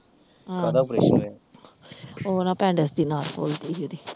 ਆਹੋ ਕਾਹਦਾ operation ਹੋਇਆ, ਉਹ ਨਾ ਦੀ ਨਾੜ ਫੁੱਲ ਗਈ ਸੀ ਇਹਦੀ।